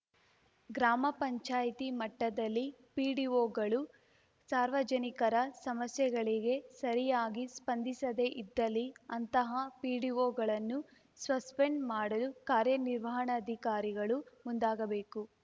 ಗ್ರಾಮ ಪಂಚಾಯತಿ ಮಟ್ಟದಲ್ಲಿ ಪಿಡಿಒಗಳು ಸಾರ್ವಜನಿಕರ ಸಮಸ್ಯೆಗಳಿಗೆ ಸರಿಯಾಗಿ ಸ್ಪಂದಿಸದೇ ಇದ್ದಲ್ಲಿ ಅಂತಹ ಪಿಡಿಒಗಳನ್ನು ಸ್ವಸ್ಪೆಂಡ್‌ ಮಾಡಲು ಕಾರ್ಯನಿರ್ವಹಣಾಧಿಕಾರಿಗಳು ಮುಂದಾಗಬೇಕು